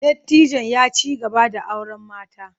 Dattijon ya ci gaba da auren mata.